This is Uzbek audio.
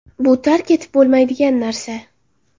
Bu tark etib bo‘lmaydigan narsa.